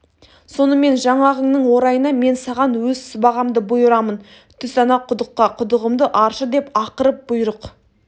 сонымен жаңағыңның орайына мен саған өз сыбағамды бұйырамын түс ана құдыққа құдығымды аршы деп ақырып бұйрық